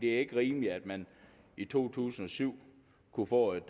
er ikke rimeligt at man i to tusind og syv kunne få et